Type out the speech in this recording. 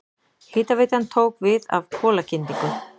Hitaveitan tók við af kolakyndingu.